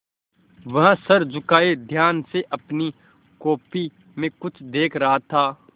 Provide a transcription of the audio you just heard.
वह सर झुकाये ध्यान से अपनी कॉपी में कुछ देख रहा था